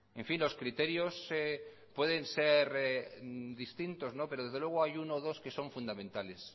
en fin los criterios pueden ser distintos no pero desde luego hay uno o dos que son fundamentales